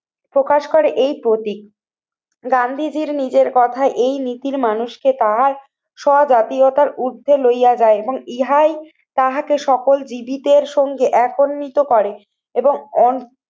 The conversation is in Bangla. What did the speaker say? প্রকাশ করে এই প্রতীক। গান্ধীজীর নিজের কথায় এই নীতির মানুষকে পাওয়ার স্ব জাতীয়তার ঊর্ধ্বে লইয়া যায় এবং ইহাই তাহাকে সকল বিধিতের সঙ্গে একনম্বিত করে এবং